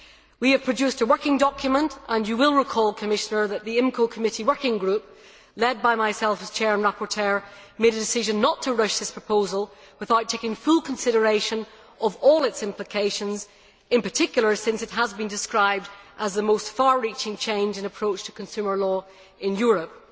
We have produced a working document and you will recall that the IMCO Committee working group, led by myself as chair and rapporteur, made a decision not to rush this proposal without taking full consideration of all its implications, in particular since it has been described as the most far reaching change in approach to consumer law in Europe.